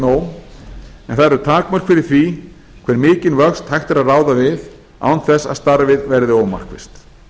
það eru takmörk fyrir því hve mikinn vöxt hægt er ráða við án þess að starfið verði ómarkvisst